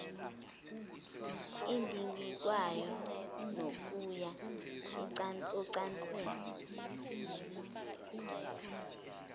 edingidwayo nokuya ocansini